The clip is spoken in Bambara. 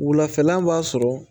Wulafɛla b'a sɔrɔ